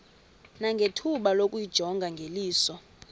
nangethuba lokuyijonga ngeliso